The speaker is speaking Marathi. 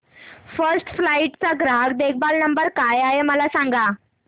फर्स्ट फ्लाइट चा ग्राहक देखभाल नंबर काय आहे मला सांग